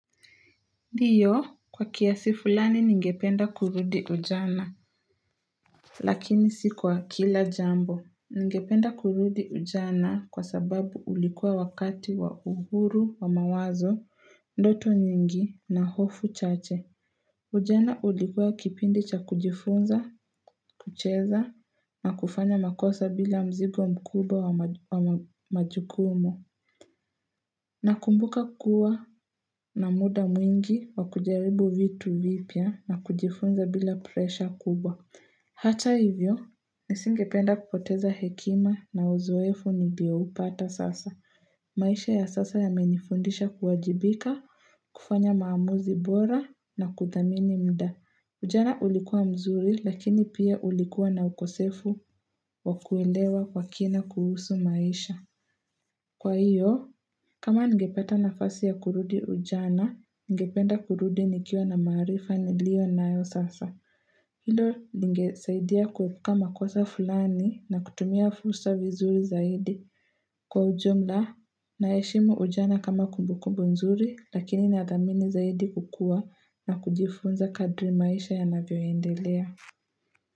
Ndio, kwa kiasi fulani ningependa kurudi ujana Lakini si kwa kila jambo. Ningependa kurudi ujana kwa sababu ulikuwa wakati wa uhuru wa mawazo, ndoto nyingi na hofu chache Ujana ulikuwa kipindi cha kujifunza, kucheza na kufanya makosa bila mzigo mkubwa wa majukumu Nakumbuka kuwa na muda mwingi wa kujaribu vitu vipya na kujifunza bila presha kubwa. Hata hivyo, nisingependa kupoteza hekima na uzoefu niliyo upata sasa. Maisha ya sasa yamenifundisha kuwajibika, kufanya maamuzi bora, na kudhamini muda. Ujana ulikuwa mzuri lakini pia ulikuwa na ukosefu wa kuelewa kwa kina kuhusu maisha. Kwa hiyo, kama ningepata nafasi ya kurudi ujana, ningependa kurudi nikiwa na maarifa niliyo nayo sasa. Hilo lingesaidia kuepuka makosa fulani na kutumia fursa vizuri zaidi. Kwa ujumla, naheshimu ujana kama kumbukumbu nzuri, lakini ni ya thamini zaidi kukua na kujifunza kadri maisha yanavyo endelea.